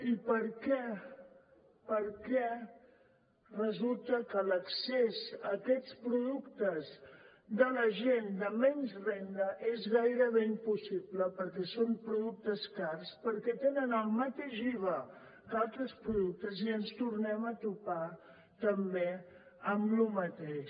i per què per què resulta que l’accés a aquests productes de la gent de menys renda és gairebé impossible perquè són productes cars perquè tenen el mateix iva que altres productes i ens tornem a topar també amb lo mateix